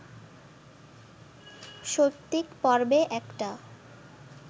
সৌপ্তিক পর্বে একটা